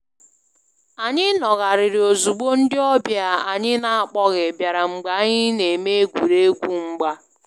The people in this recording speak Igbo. Anyị nọgharịrị ozugbo ndị ọbịa anyị n'akpoghi biara mgbe anyị na-eme egwuregwu mgba